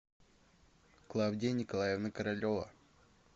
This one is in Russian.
клавдия николаевна королева